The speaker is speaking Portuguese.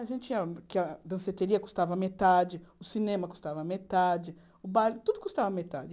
A gente ia, porque a danceteria custava metade, o cinema custava metade, o baile, tudo custava metade.